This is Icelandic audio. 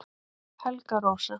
Helga Rósa